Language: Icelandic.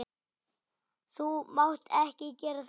Þú mátt ekki gera þetta.